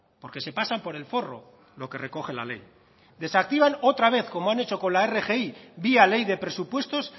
porque se pasan por el forro lo que recoge la ley desactivan otra vez como han hecho con la rgi vía ley de presupuestos